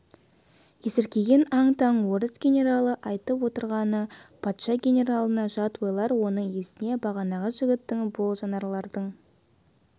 есіркеген аң-таң орыс генералы айтып отырғаны патша генералына жат ойлар оның есіне бағанағы жігіттің бұл жанаралдың